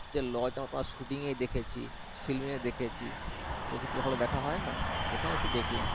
হচ্ছে lodge টা Shooting দেখেছি film দেখেছি চোখে চোখে তো আর দেখা হয় না এখানে এসে দেখলাম